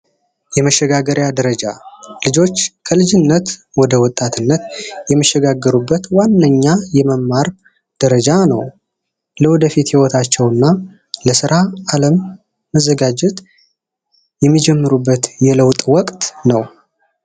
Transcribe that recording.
መሸጋገሪያ ደረጃ ልጆች ከልጅነት ወደ ወጣትነት የሚሸጋገሩበት ዋነኛ የመማር ደረጃ ነው። ለወደፊት ይወታቸውና ለስራ ዓለም መዘጋጀት የለውጥ ወቅት ነው።